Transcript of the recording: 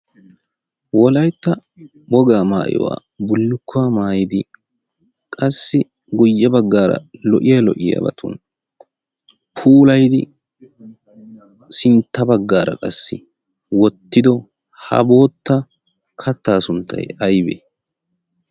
wolaitta wogaa maayuwaa bullukkuwaa maayidi qassi guyye baggaara lo"iya lo"iyaabatun puulayidi sintta baggaara qassi wottido ha bootta kattaa sunttay aybee?